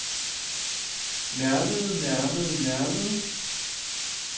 nærmede nærmede nærmede